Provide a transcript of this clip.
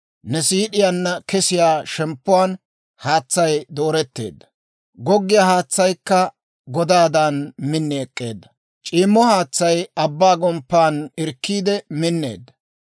Ne siid'iyaanna kesiyaa shemppuwaan haatsay dooretteedda. Goggiyaa haatsaykka godaadan min ek'k'eedda; c'iimmo haatsay abbaa gomppan irkkiide minneedda.